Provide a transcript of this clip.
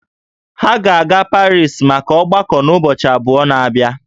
Ha ga-aga Parii maka ọgbako n'ụbọchị abụọ na-abịa